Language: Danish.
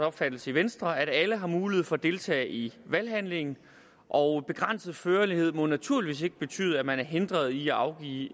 opfattelse i venstre at alle har mulighed for at deltage i valghandlingen og begrænset førlighed må naturligvis ikke betyde at man er hindret i at afgive